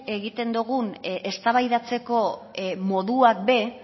egiten dogun eztabaidatzeko modua be